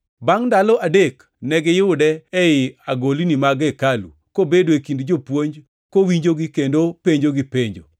Bangʼ ndalo adek negiyude ei agolni mag hekalu, kobedo e kind jopuonj, kowinjogi kendo penjogi penjo.